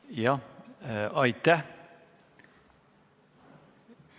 Jah, aitäh!